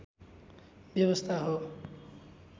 व्यवस्था हो